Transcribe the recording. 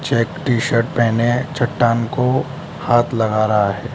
यह एक T shirt पहने है चट्टान को हाथ लगा रहा है।